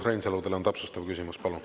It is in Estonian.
Urmas Reinsalu, teil on täpsustav küsimus, palun.